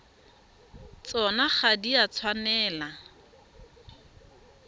tsona ga di a tshwanela